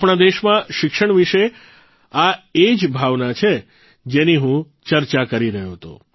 આપણા દેશમાં શિક્ષણ વિશે આ એ જ ભાવના છે જેની હું ચર્ચા કરી રહ્યો હતો